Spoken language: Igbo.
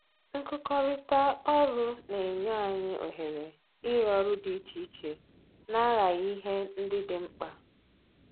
Nkụkọrịta ọrụ na-enye anyị ohere ịrụ ọrụ dị iche iche na-aghaghị ihe ndị dị mkpa